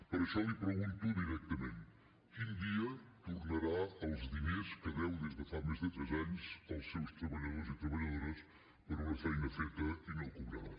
per això li pregunto directament quin dia tornarà els diners que deu des de fa més de tres anys als seus treballadors i treballadores per una feina feta i no cobrada